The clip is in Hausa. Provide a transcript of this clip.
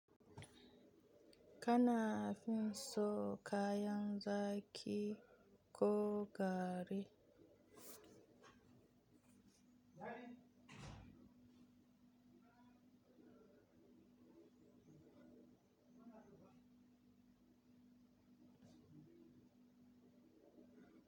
Kana fin so kayan zaki ko gari?